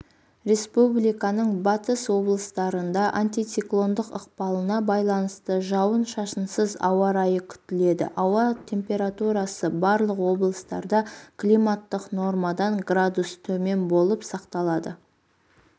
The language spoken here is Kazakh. республиканың батыс облыстарында антициклондық ықпалына байланысты жауын-шашынсыз ауа райы күтіледі ауа температурасы барлық облыстарда климаттық нормадан градус төмен болып сақталады